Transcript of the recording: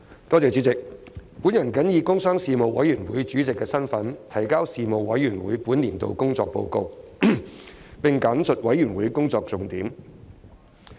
我謹以工商事務委員會主席的身份，提交事務委員會本年度工作報告，並簡述事務委員會工作重點。